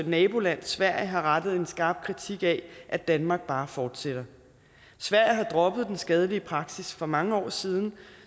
naboland sverige har rettet en skarp kritik af at danmark bare fortsætter sverige har droppet den skadelige praksis for mange år siden